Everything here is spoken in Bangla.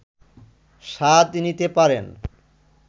স্বাদ নিতে পারেন